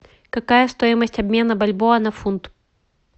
какая стоимость обмена бальбоа на фунт